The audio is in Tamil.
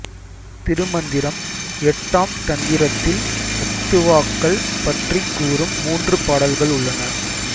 திருமந்திரம் எட்டாம் தந்திரத்தில் அத்துவாக்கள் பற்றிக் கூறும் மூன்று பாடல்கள் உள்ளன